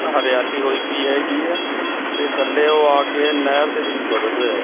ਆ ਹਰਿਆਲੀ ਹੋਈ ਪਈ ਹੈਗੀ ਹੈ ਤੇ ਥੱਲੇ ਉਹ ਆ ਕੇ ਨਹਿਰ ਦੇ ਵਿੱਚ ਬਦਲ ਰਿਹਾ ਹੈ।